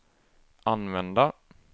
använda